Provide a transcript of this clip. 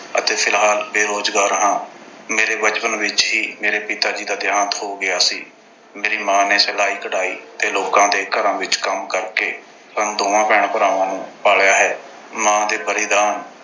ਅਤੇ ਫਿਲਹਾਲ ਬੇਰੋਜ਼ਗਾਰ ਹਾਂ। ਮੇਰੇ ਬਚਪਨ ਵਿੱਚ ਹੀ ਮੇਰੇ ਪਿਤਾ ਜੀ ਦਾ ਦੇਹਾਂਤ ਹੋ ਗਿਆ ਸੀ। ਮੇਰੀ ਮਾਂ ਨੇ ਸਿਲਾਈ-ਕਢਾਈ ਤੇ ਲੋਕਾਂ ਦੇ ਘਰਾਂ ਵਿੱਚ ਕੰਮ ਕਰਕੇ, ਸਾਨੂੰ ਦੋਹਾਂ ਭੈਣ-ਭਰਾਵਾਂ ਨੂੰ ਪਾਲਿਆ ਹੈ। ਮਾਂ ਦੇ ਬਲਿਦਾਨ